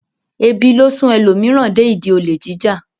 Ebi ló sún ẹlòmíràn dé ìdí olè jíjà.